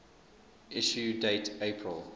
issue date april